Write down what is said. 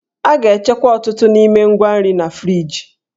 A ga-echekwa ọtụtụ n'ime ngwa nri na friji.